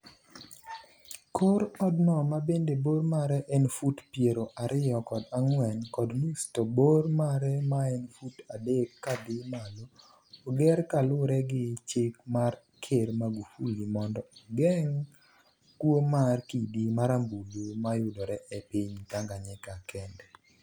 kor odno mabende bor mare en fut piero ariyo kod ang'wen kod nus to bor mare maen fut adek kadhi malo, oger kalure gi chik mar ker Magufuli mondo ogeng' kuo mar kidi marambuluno mayudore e piny Tanganyika kende.